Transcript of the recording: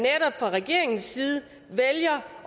fra regeringens side vælger